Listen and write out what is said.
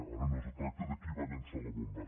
ara no es tracta de qui va llançar la bomba